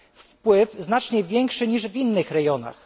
Wpływ znacznie większy niż w innych rejonach.